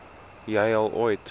jy al ooit